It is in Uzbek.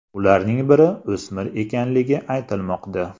Ularning biri o‘smir ekanligi aytilmoqda.